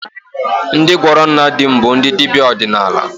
Ndị gwọrọ nna di m bụ ndị dibịa ọdịnala